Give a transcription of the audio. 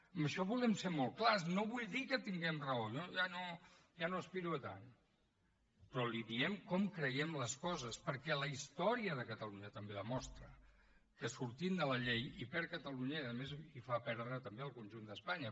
en això volem ser molt clars no vull dir que tinguem raó jo ja no aspiro a tant però li diem com creiem les coses perquè la història de catalunya també demostra que sortint de la llei hi perd catalunya i a més hi fa perdre també al conjunt d’espanya